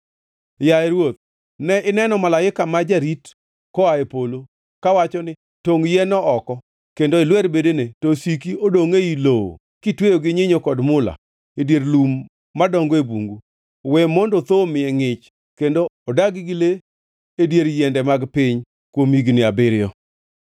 “Yaye ruoth, ne ineno malaika ma jarit koa e polo, kawacho ni, ‘Tongʼ yien-no oko kendo ilwer bedene, to osiki odongʼ ei lowo, kitweyo gi nyinyo kod mula, e dier lum madongo e bungu. We mondo thoo omiye ngʼich kendo odag gi le adier yiende mag piny kuom higni abiriyo.’